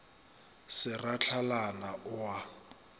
se ra hlalana o a